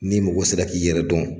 Ni mɔgɔ sera k'i yɛrɛ dɔn,